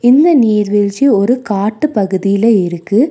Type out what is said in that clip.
இந்த நீர்வீழ்ச்சி ஒரு காட்டுப்பகுதில இருக்கு.